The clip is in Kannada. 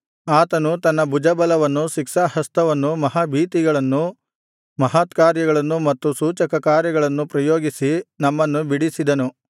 ಆತನು ತನ್ನ ಭುಜಬಲವನ್ನೂ ಶಿಕ್ಷಾಹಸ್ತವನ್ನೂ ಮಹಾಭೀತಿಗಳನ್ನೂ ಮಹತ್ಕಾರ್ಯಗಳನ್ನೂ ಮತ್ತು ಸೂಚಕಕಾರ್ಯಗಳನ್ನು ಪ್ರಯೋಗಿಸಿ ನಮ್ಮನ್ನು ಬಿಡಿಸಿದನು